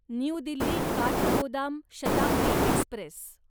new Delhi Kathgodam Shatabdi Express